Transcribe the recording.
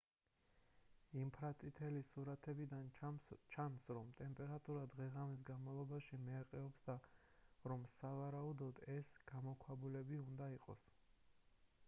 ინფრაწითელი სურათებიდან სჩანს რომ ტემპერატურა დღე-ღამის განმავლობაში მერყეობს და რომ სავარაუდოდ ეს გამოქვაბულები უნდა იყოს